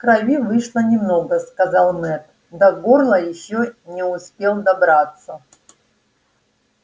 крови вышло немного сказал мэтт до горла ещё не успел добраться